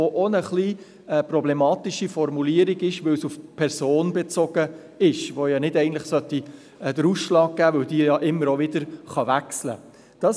Er beinhaltet auch eine etwas problematische Formulierung, weil er auf die Person bezogen ist, die eigentlich nicht den Ausschlag geben sollte, weil diese ja immer wieder wechseln kann.